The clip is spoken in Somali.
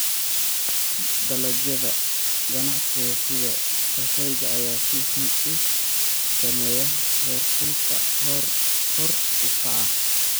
Dalagyada ganacsiga sida kafeega ayaa si xun u saameeya heerkulka kor u kaca.